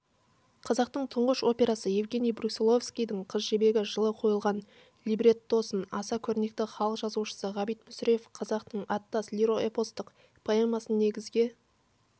қазақтың тұңғыш операсы евгений брусиловскийдің қыз жібегі жылы қойылған либреттосын аса көрнекті халық жазушысы ғабит мүсірепов халықтың аттас лиро-эпостық поэмасын негізге